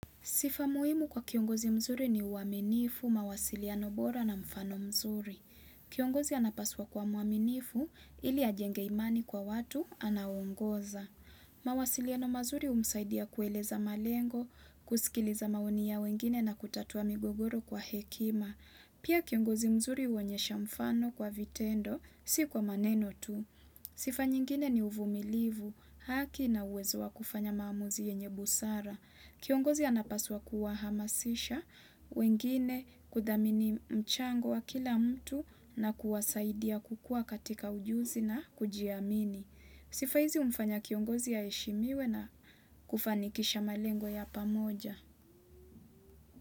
Sifa muhimu kwa kiongozi mzuri ni uaminifu, mawasiliano bora na mfano mzuri. Kiongozi anapaswa kuwa mwaminifu ili ajenge imani kwa watu anaongoza. Mawasiliano mazuri humsaidia kueleza malengo, kusikiliza maoni ya wengine na kutatua migogoro kwa hekima. Pia kiongozi mzuri uonyesha mfano kwa vitendo, si kwa maneno tu. Sifa nyingine ni uvumilivu haki na uwezo wa kufanya maamuzi yenye busara. Kiongozi anapaswa kuwahamasisha, wengine kudhamini mchango wa kila mtu na kuwasaidia kukua katika ujuzi na kujiamini. Sifa hizi humfanya kiongozi aheshimiwe na kufanikisha malengo ya pamoja.